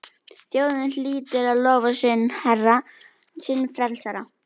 Þjóðin hlýtur að lofa sinn herra, sinn frelsara!